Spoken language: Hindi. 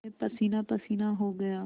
मैं पसीनापसीना हो गया